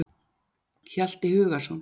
Hjalti Hugason.